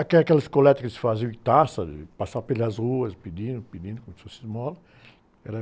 Até aquelas coletas que se faziam em taças, passavam pelas ruas pedindo, pedindo, como se fosse esmola, era...